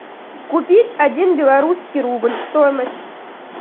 купить один белорусский рубль стоимость